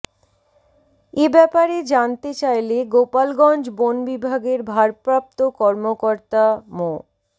এ ব্যাপারে জানতে চাইলে গোপালগঞ্জ বন বিভাগের ভারপ্রাপ্ত কর্মকর্তা মো